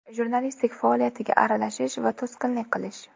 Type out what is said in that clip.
Jurnalistlik faoliyatiga aralashish va to‘sqinlik qilish.